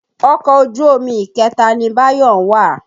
Ọkọ̀ ojú omi ìkẹta ni Báyọ̀ ń wà.